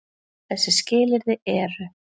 Þessi skilyrði eru: